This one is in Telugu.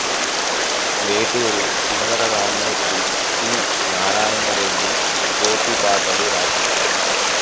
వేటూరి సుందరరామ్మూర్తి సి నారాయణ రెడ్డి గోపి పాటలు రాశారు